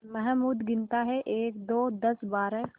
महमूद गिनता है एकदो दसबारह